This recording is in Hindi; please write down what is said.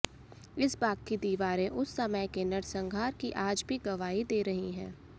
इस बाग की दीवारें उस समय के नरसंहार की आज भी गवाही दे रही हैं